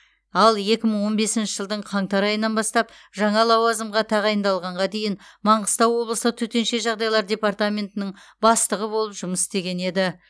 ал екі мың он бесінші жылдың қаңтар айынан бастап жаңа лауазымға тағайындалғанға дейін маңғыстау облыстық төтенше жағдайлар департаментінің бастығы болып жұмыс істеген еді